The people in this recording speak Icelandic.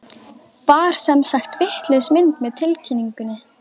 Var sem sagt vitlaus mynd með tilkynningunni?